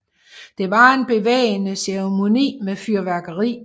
Det var en bevægende ceremoni med fyrværkeri